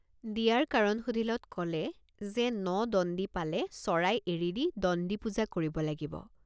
দিয়াৰ কাৰণ সুধিলত কলে যে ন দণ্ডি পালে চৰাই এৰি দি দণ্ডি পূজা কৰিব লাগিব।